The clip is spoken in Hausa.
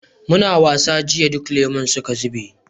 muna ta wasa jiya duka lemun suka zube